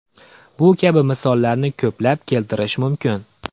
Bu kabi misollarni ko‘plab keltirish mumkin.